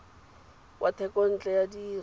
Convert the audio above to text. wa thekontle ya dire tsa